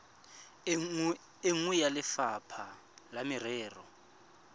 nngwe ya lefapha la merero